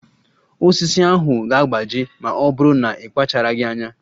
Osisi ahụ ga-agbaji ma ọ bụrụ na ị kpacharaghị anya.